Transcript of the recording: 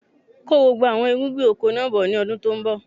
Kó gbogbo àwọn irúgbìn oko náà bọ̀ ni ọdún tòun bọ̀!